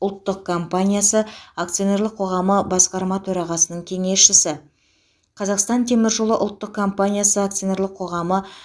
ұлттық компаниясы акционерлік қоғамы басқарма төрағасының кеңесшісі қазақстан темір жолы ұлттық компаниясы акционерлік қоғамы